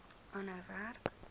aanhou werk